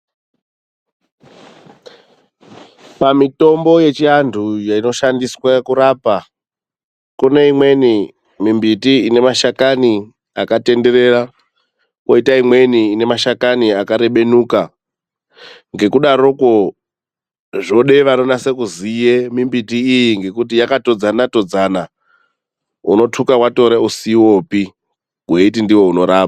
Pamitombo yechiantu inoshandiswa kurapa kune imweni mimbiti ine mashakani katenderera, kwoita imweni ine mashakani akarebenuka. Ngekudarokwo zvoda vanonase kuziya mimbiti iyi ngekuti yakatodzana todzana unothuka watora usiwopi weiti ndiwo unorapa.